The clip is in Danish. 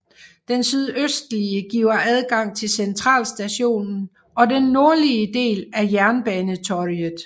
Den sydøstlige giver adgang til Centralstationen og den nordlige del af Jernbanetorget